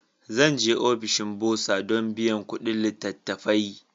Zan je ofishin Burser don biyan kuɗin littattafai.